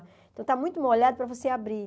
Então, está muito molhado para você abrir.